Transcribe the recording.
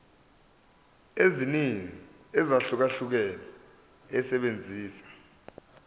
eziningi ezahlukahlukene esebenzisa